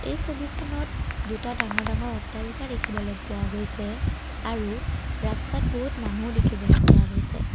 এই ছবিখনত দুটা ডাঙৰ ডাঙৰ অট্টালিকা দেখিবলৈ পোৱা গৈছে আৰু ৰাস্তাত বহুত মানুহো দেখিবলৈ পোৱা গৈছে।